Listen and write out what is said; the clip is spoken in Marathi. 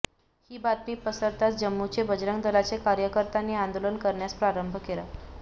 ही बातमी पसरताच जम्मूचे बजरंग दलाचे कार्यकर्त्यांनी आंदोलन करण्यास प्रारंभ केला